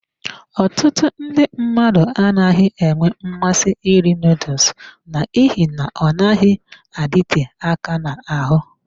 Ọtụtụ ndị mmadụ anaghị enwe mmasị iri noodles n'ihi na ọ naghị adịte aka n'ahụ.